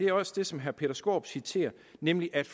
er også det som herre peter skaarup citerer nemlig at